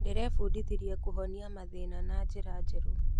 Ndĩrebundithirie kũhonia mathĩna na njĩra njerũ.